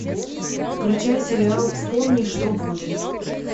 включай сериал вспомни что будет